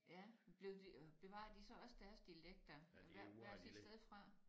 Ja men blev de øh bevarede de så også deres dialekter hvert hvert sit sted fra?